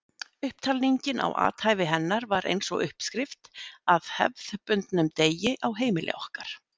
Upptalningin á athæfi hennar var eins og uppskrift að hefðbundnum degi á heimili okkar.